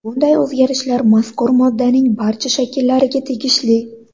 Bunday o‘zgarishlar mazkur moddaning barcha shakllariga tegishli.